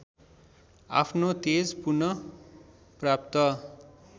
आफ्नो तेज पुनःप्राप्त